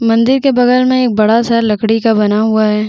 मंदिर के बगल में एक बड़ा सा लकड़ी का बना हुआ है।